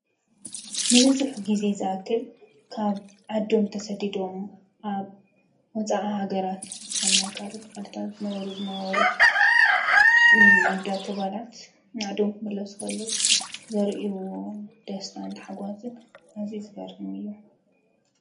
ንብዙሕ ግዜ ዝኣክል ካብ ዓዶም ተሰዲዶም ኣብ ወፃእ ሃገራት ኣብ ናይ ካልኦት ዓድታት ዝነብሩ ዝነበሩ ኣወዳት አጓላት ንዓዶም ክምለሱ ከለው ዘርእይዎ ደስታን ታሓጓስን ኣዝዩ ዝገርም እዩ።